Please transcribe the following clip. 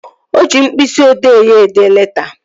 O ji mkpịsị odee ya ede leta